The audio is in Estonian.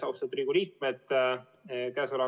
Austatud Riigikogu liikmed!